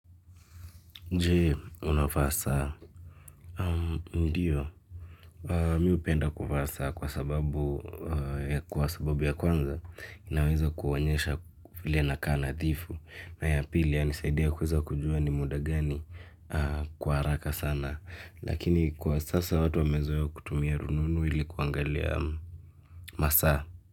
Jee unavaa saa mdiyo mimi upenda kuvaa saa kwa sababu ya kwanza inaweza kuonyesha vile inakaa nadhifu na ya pili inanisaidia kluweza kujua ni muda gani kwa haraka sana lakini kwa sasa watu wamezoea kutumia rununu ili kuangalia masaa.